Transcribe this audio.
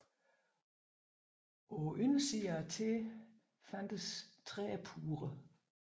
På undersiden af tæerne fandtes trædepuder